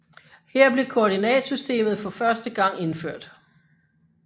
Her blev koordinatsystemet for første gang indført